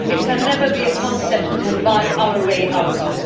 It can never be a concept we can buy our way out of.